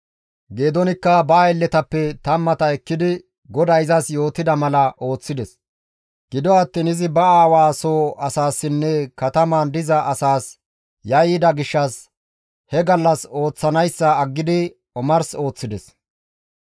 Geedoonikka ba aylletappe tammata ekkidi GODAY izas yootida mala ooththides; gido attiin izi ba aawa soo asaassinne katamaan diza asaas yayyida gishshas hessa gallas ooththanayssa aggidi omars ooththides.